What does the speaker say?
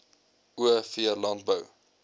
o v landbou